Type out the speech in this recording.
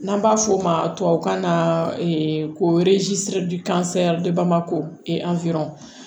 N'an b'a f'o ma tubabukan na ko ko